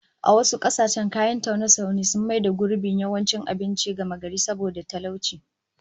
A wasu kasashen kayan taune-taune sun maybe gurbin yawancin abinci gamagari saboda talauci